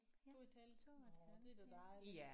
2 et halvt nåh det er da dejligt